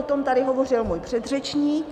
O tom tady hovořil můj předřečník.